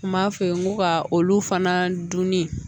Kuma f'e ye n ko ka olu fana dunni